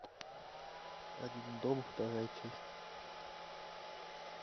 один дома вторая часть